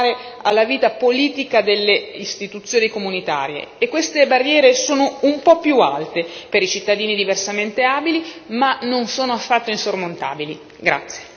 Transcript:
La nostra missione qui è abbattere tutte le barriere che impediscono ai cittadini di partecipare alla vita politica delle istituzioni comunitarie, e queste barriere sono un po' più alte per i cittadini diversamente abili, ma non sono affatto insormontabili.